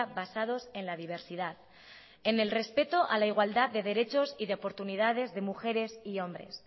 basados en la diversidad en el respeto a la igualdad de derechos y de oportunidades de mujeres y hombres